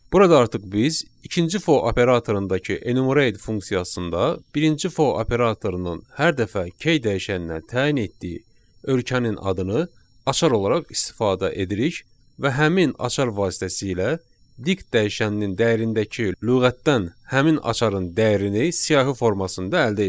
Burada artıq biz ikinci for operatorundakı enumerate funksiyasında birinci for operatorunun hər dəfə key dəyişəninə təyin etdiyi ölkənin adını açar olaraq istifadə edirik və həmin açar vasitəsilə dict dəyişəninin dəyərindəki lüğətdən həmin açarın dəyərini siyahı formasında əldə edirik.